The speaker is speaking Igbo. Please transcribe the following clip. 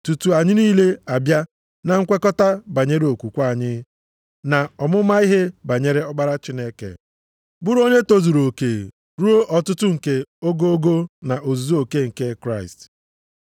tutu anyị niile abịa na nkwekọta banyere okwukwe anyị, na ọmụma ihe banyere ọkpara Chineke, bụrụ onye tozuru oke, ruo ọtụtụ nke ogogo na ozuzu oke nke Kraịst.